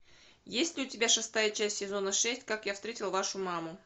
есть ли у тебя шестая часть сезона шесть как я встретил вашу маму